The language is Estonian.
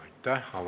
Aitäh!